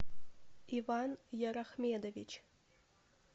иван ярахмедович